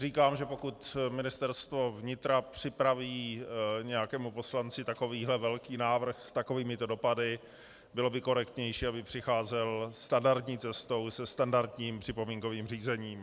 Říkám, že pokud Ministerstvo vnitra připraví nějakému poslanci takovýhle velký návrh s takovýmito dopady, bylo by korektnější, aby přicházel standardní cestou, se standardním připomínkovým řízením.